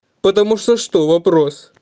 потому что что вопрос